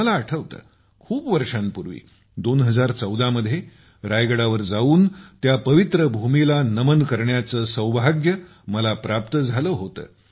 मला आठवते खूप वर्षांपूर्वी 2014 मध्ये रायगडावर जाऊन त्या पवित्र भूमीला नमन करण्याचे सौभाग्य मला प्राप्त झाले होते